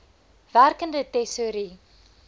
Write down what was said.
werkende tesourie